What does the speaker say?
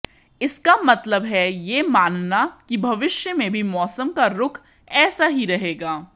इसका मतलब है यह मानना कि भविष्य में भी मौसम का रुख ऐसा ही रहेगा